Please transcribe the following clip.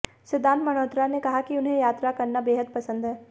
सिद्धार्थ मल्होत्रा ने कहा कि उन्हें यात्रा करना बेहद पसंद है